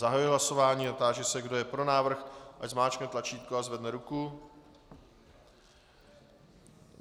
Zahajuji hlasování a táži se, kdo je pro návrh, ať zmáčkne tlačítko a zvedne ruku.